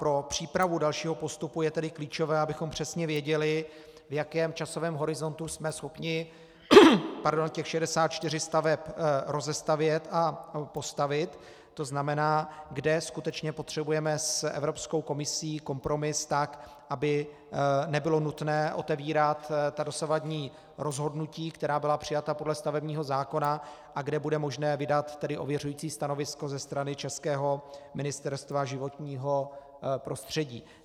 Pro přípravu dalšího postupu je tedy klíčové, abychom přesně věděli, v jakém časovém horizontu jsme schopni těch 64 staveb rozestavět a postavit, to znamená, kde skutečně potřebujeme s Evropskou komisí kompromis, tak aby nebylo nutné otevírat ta dosavadní rozhodnutí, která byla přijata podle stavebního zákona a kde bude možné vydat tedy ověřující stanovisko ze strany českého Ministerstva životního prostředí.